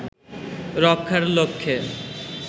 রক্ষার লক্ষ্যে